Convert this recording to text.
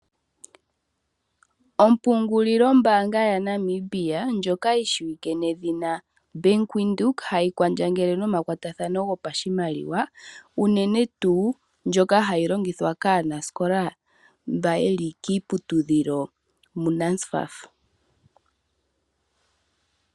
Ompungulilo mbaanga yaNamibia ndjoka yi shiwike nawa nedhina Bank Windhoek. Ohayi kwandjangele nomakwatathano gopashimaliwa unene tuu ndjoka hayi longithwa kaanasikola mbono haya futilwa kuNSFAF yokiiputudhilo yopombanda.